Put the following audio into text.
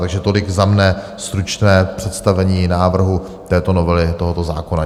Takže tolik za mne stručné představení návrhu této novely tohoto zákona.